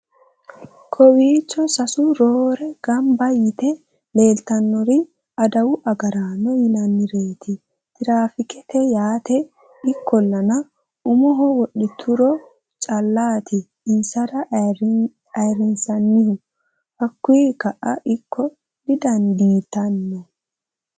kowiicho sasu roore gamba yite leeltannori adawu agaraano yinannireeti traafiikete yaate ikkollana umoho wodhituro callati insa ayrinsannihu hakkuyi ka'a ikka didandiitanno